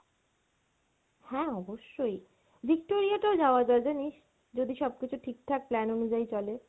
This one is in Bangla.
হ্যাঁ অবশ্যই, Victoria টাও যাওয়া যায় জানিস যদি সবকিছু ঠিক ঠাক plan অনুযায়ী চলে।